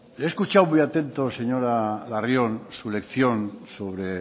he escuchado muy atento señora larrión su lección sobre